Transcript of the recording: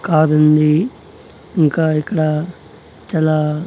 Car ఉంది ఇంకా ఇక్కడ చాలా.